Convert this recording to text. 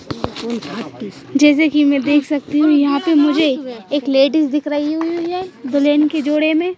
जैसे कि मैं देख सकती हूँ यहाँ पे मुझे ए एक लेडिज़ दिख रही हुई है दुल्हन के जोड़े में--